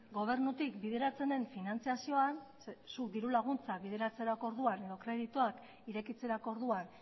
gobernutik bideratzen den finantziazioan zuk diru laguntzak bideratzerako orduan edo kredituak irekitzerako orduan